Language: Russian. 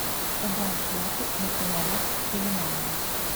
убавь яркость на фонарях в пеленальной